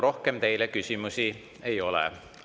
Rohkem teile küsimusi ei ole.